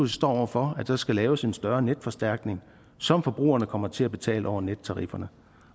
står over for at der skal laves en større netforstærkning som forbrugerne kommer til at betale over nettarifferne